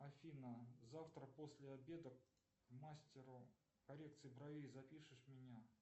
афина завтра после обеда к мастеру коррекции бровей запишешь меня